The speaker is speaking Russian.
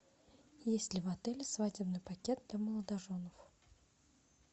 есть ли в отеле свадебный пакет для молодоженов